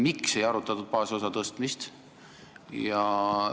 Miks ei arutatud baasosa suurendamist?